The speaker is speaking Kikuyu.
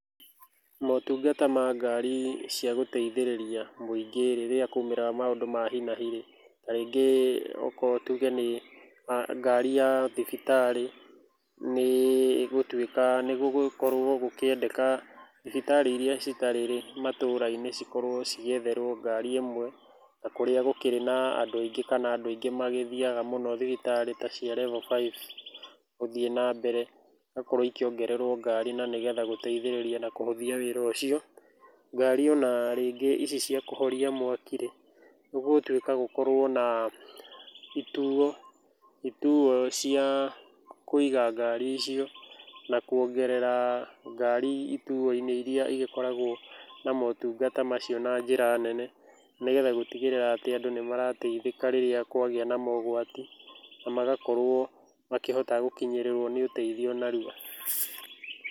Motungata ma ngari cia gũteithĩrĩria mũingĩ rĩrĩa kwaumĩra maũndũ ma hi na hi rĩ, ta rĩngĩ okorwo tuge nĩ ngari ya thibitarĩ nĩ gũtuĩka nĩ gũgũkorwo gũkĩendeka thibitarĩ iria citarĩ-rĩ matũra-inĩ cikorwo cigĩetherwo ngari ĩmwe, na kũrĩa gũkĩrĩ na andũ aingĩ kana andũ aingĩ kana andũ aingĩ magĩthiaga mũno thibitarĩ ta cia Level 5 gũthiĩ na mbere, igakorwo ikĩongererwo ngarĩ nĩ getha gũteithĩrĩria na kũhũthia wĩra ũcio. Ngari o na rĩngĩ ici cia kũhoria mwaki rĩ, nĩ gũgũtuĩka gũkorwo na ituo, ituo cia kũiga ngari icio, na kuongerera ngari ituo-inĩ iria igĩkoragwo na motungata macio na njĩra nene, nĩgetha gũtigĩrĩra atĩ andũ nĩ marateithĩka rĩrĩa kwagĩa na mogwati na magakorwo makĩhota gũkinyĩrĩrwo nĩ ũteithio narua.